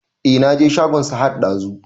E na je shagon Sahad ɗazu